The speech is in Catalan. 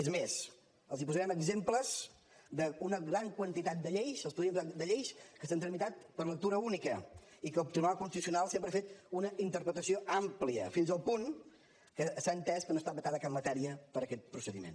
és mes els posarem exemples d’una gran quantitat de lleis que s’han tramitat per lectura única i que el tribunal constitucional sempre ha fet una interpretació àmplia fins al punt que s’ha entès que no ha estat vetada cap matèria per aquest procediment